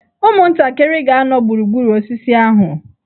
Ụmụntakịrị ga-anọ gburugburu osisi ahụ.